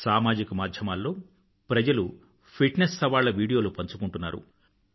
సామాజిక మాధ్యమాల్లో ప్రజలు ఫిట్నెస్ సవాళ్ల వీడియోలు పంచుకుంటున్నారు